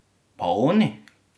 Pa oni?